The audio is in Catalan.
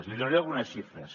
li donaré algunes xifres